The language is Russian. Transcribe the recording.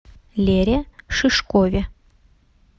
лере шишкове